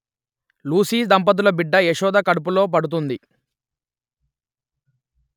Lucy దంపతుల బిడ్డ యశోద కడుపులో పడుతుంది